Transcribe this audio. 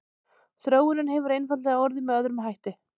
Þróunin hefur einfaldlega orðið með öðrum hætti.